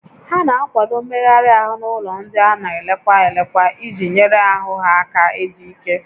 A na-akwado mmegharị ahụ n'ụlọ ndị a na elekwa elekwa iji nyere ahụ ha aka ịdị ike